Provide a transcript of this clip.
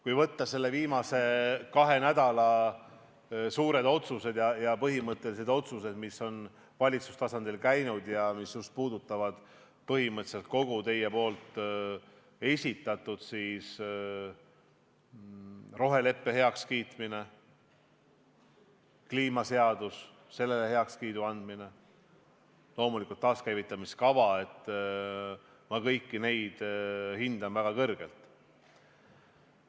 Kui võtta ette viimase kahe nädala suured ja põhimõttelised otsused, mis on valitsuse tasandilt läbi käinud ja mis puudutavad põhimõtteliselt kogu teie esitatut – roheleppe heakskiitmine, kliimaseadus ja sellele heakskiidu andmine, loomulikult taaskäivitamise kava –, siis kõiki neid hindan ma väga kõrgelt.